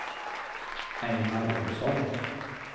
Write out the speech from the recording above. Ejnar Ohlsson